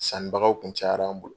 Sannibagaw kun cayara an bolo.